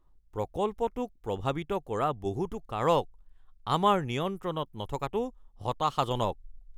প্ৰকল্পটোক প্ৰভাৱিত কৰা বহুতো কাৰক আমাৰ নিয়ন্ত্ৰণত নথকাটো হতাশাজনক। (পৰিচালক ২)